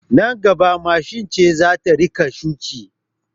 Nan gaba mashin ce za ta rika shuki